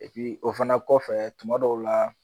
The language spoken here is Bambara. Epi o fana kɔfɛ tuma dɔw la